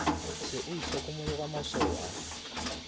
se o itlhokomologa maswao a